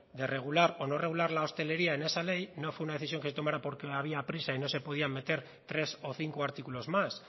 de regular o no regular la hostelería en esa ley no fue una decisión que se tomara porque había prisa y no se podía meter tres o cinco artículos más